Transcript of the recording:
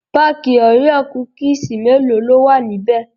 Pataki òréò kúkísì mélòó ló wà níbẹ̀?